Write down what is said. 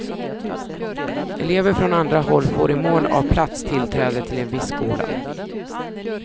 Elever från andra håll får i mån av plats tillträde till en viss skola.